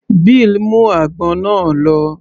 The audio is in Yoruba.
Bill mú àgbọn náà lọ